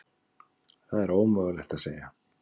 Það er ómögulegt að segja.